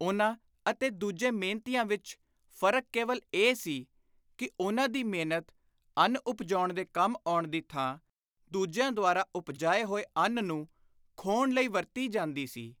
ਉਨ੍ਹਾਂ ਅਤੇ ਦੂਜੇ ਮਿਹਨਤੀਆਂ ਵਿਚ ਫ਼ਰਕ ਕੇਵਲ ਇਹ ਸੀ ਕਿ ਉਨ੍ਹਾਂ ਦੀ ਮਿਹਨਤ ਅੰਨ ਉਪਜਾਉਣ ਦੇ ਕੰਮ ਆਉਣ ਦੀ ਥਾਂ ਦੂਜਿਆਂ ਦੁਆਰਾ ਉਪਜਾਏ ਹੋਏ ਅੰਨ ਨੂੰ ਖੋਹਣ ਲਈ ਵਰਤੀ ਜਾਂਦੀ ਸੀ।